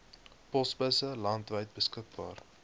posbusse landwyd beskikbaar